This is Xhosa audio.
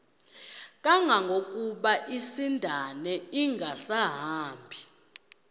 kangangokuba isindane ingasahambi